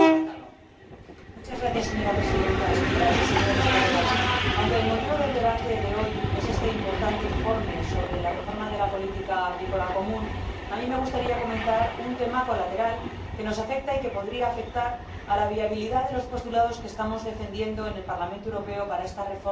Señora Presidenta, señoras y señores colegas, aunque el motivo del debate de hoy es este importante informe sobre la reforma de la Política Agrícola Común, a mí me gustaría comentar un tema colateral que nos afecta y que podría afectar a la viabilidad de los postulados que estamos defendiendo en el Parlamento Europeo para esta reforma del futuro de la PAC.